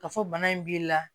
Ka fɔ bana in b'i la